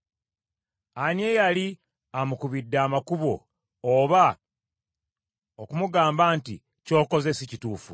Ani eyali amukubidde amakubo, oba okumugamba nti, ‘Ky’okoze si kituufu?’